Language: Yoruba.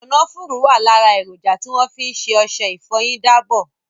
Kànáfùrù wà lára èròjà tí wọ́n fi ṣe ọṣẹ ìfọyín dábọ̀.